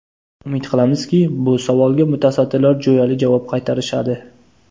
Umid qilamizki, bu savolga mutasaddilar jo‘yali javob qaytarishadi.